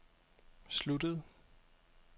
sluttede